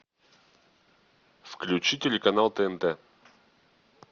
включи телеканал тнт